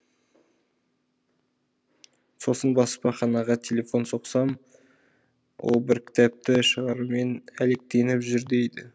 сосын баспаханаға телефон соқсам ол бір кітапты шығарумен әлектеніп жүр дейді